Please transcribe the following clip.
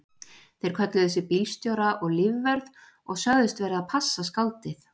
Þeir kölluðu sig bílstjóra og lífvörð og sögðust vera að passa skáldið.